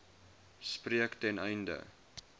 spreek ten einde